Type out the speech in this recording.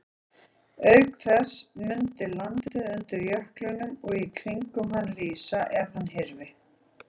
Auk þess mundi landið undir jöklinum og í kringum hann rísa ef hann hyrfi.